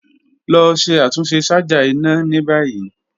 Lọ ṣe atunṣe ṣaja ina ni bayi.